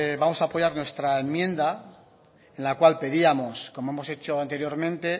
vamos a apoyar nuestra enmienda en la cual pedíamos como hemos hecho anteriormente